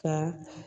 Ka